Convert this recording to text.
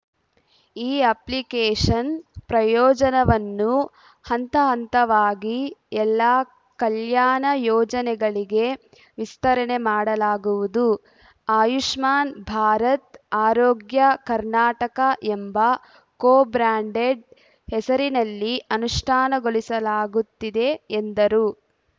ಈ ಅಪ್ಲಿಕೇಷನ್‌ ಪ್ರಯೋಜನವನ್ನು ಹಂತಹಂತವಾಗಿ ಎಲ್ಲಾ ಕಲ್ಯಾಣ ಯೋಜನೆಗಳಿಗೆ ವಿಸ್ತರಣೆ ಮಾಡಲಾಗುವುದು ಆಯುಷ್ಮಾನ್‌ ಭಾರತ್‌ಆರೋಗ್ಯ ಕರ್ನಾಟಕ ಎಂಬ ಕೋಬ್ರ್ಯಾಂಡೆಡ್‌ ಹೆಸರಿನಲ್ಲಿ ಅನುಷ್ಠಾನಗೊಳಿಸಲಾಗುತ್ತಿದೆ ಎಂದರು